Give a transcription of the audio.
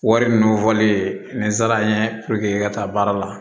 Wari munnu fɔlen ni zara n ye puruke i ka taa baara la